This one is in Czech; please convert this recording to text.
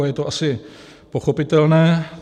A je to asi pochopitelné.